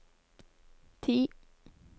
ti